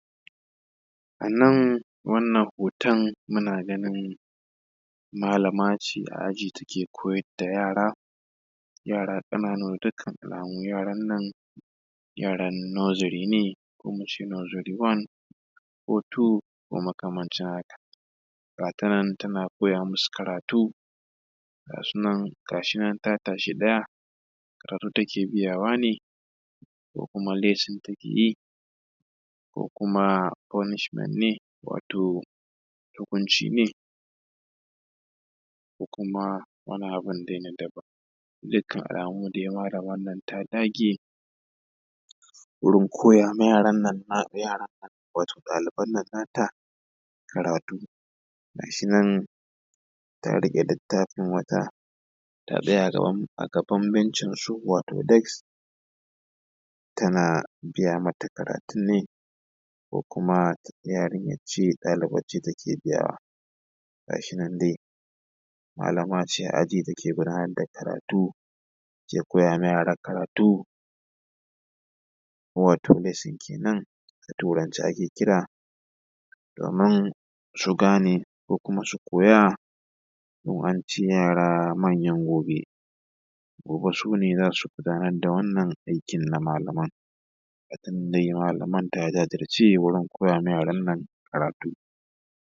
A nan wannan hoton muna ganin malam ce a aji take koyar da yara yara ƙananu dukkan alamu yaran nan yaran nursery ne ko in nursery one ko two ko makamancin haka ga tanan take koya musu karatu ga su nan gashinan ta tashi ɗaya karatu take biyawa ne ko kuma lesson take yi ko kuma purnishment ne wato hukunci ne ko kuma wanin abun da yake daban dukkan almu dai malaman nan ta dage wurin koya wa yaran nan yaran nan wato ɗaliban nan nata karatu gashinan ta riƙe littafin wata ta tsaya a gaban bencinsu wato des tana gaya mata kayatun ne ko kuma yarinyance ɗalibance take biyawa gashinan dai malamce a aji take gundar da karatu ke koya ma yara karatu watto lesson kenan a turance ake kira domin su gane ko kuma su koya dun ance yara manyan gobe gobe sune zasu gundar da wannan aƙin na malaman ga ta nan dai malaman ta jajirje wajjen koyar ma yaran nan karatu.